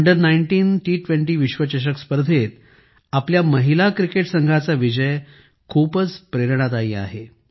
under 19 T20 विश्वचषक स्पर्धेत आपल्या महिला क्रिकेट संघाचा विजय खूपच प्रेरणादायी आहे